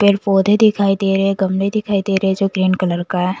पेड़ पौधे दिखाई देरे गमले दिखाई देरे जो ग्रीन कलर का है ।